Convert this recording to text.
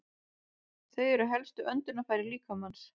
Þau eru helstu öndunarfæri líkamans.